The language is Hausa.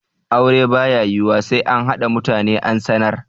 Aure ba ya yiwuwa sai an haɗa mutane an sanar.